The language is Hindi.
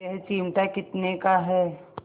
यह चिमटा कितने का है